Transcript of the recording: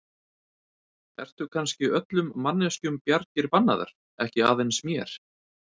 Eru kannski öllum manneskjum bjargir bannaðar, ekki aðeins mér?